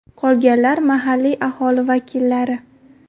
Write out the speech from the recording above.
Qolganlar mahalliy aholi vakillari.